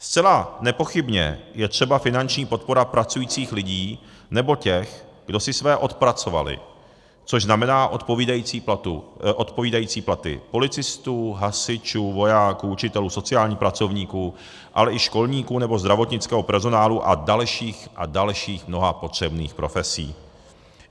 Zcela nepochybně je třeba finanční podpora pracujících lidí nebo těch, kdo si své odpracovali, což znamená odpovídající platy policistů, hasičů, vojáků, učitelů, sociálních pracovníků, ale i školníků nebo zdravotnického personálu a dalších a dalších mnoha potřebných profesí.